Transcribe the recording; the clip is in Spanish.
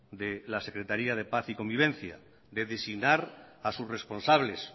de la secretaria de paz y convivencia de designar a sus responsables